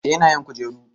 eh yana yin kujeru